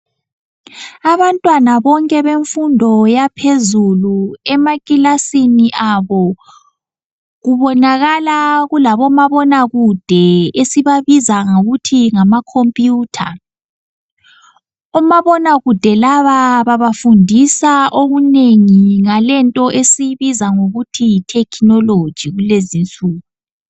Abantwana bonke bemfundo yaphezulu emakilasini abo kubonakala kulabomabonakude esibabiza ngokuthi ngamakhompiyutha. Omabonakude laba babafundisa okunengi ngalento esiyibiza ngokuthi yithekhinoloji kulezinsuku.